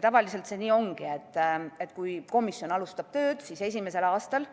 Tavaliselt see nii ongi, et kui komisjon alustab tööd, siis esimesel aastal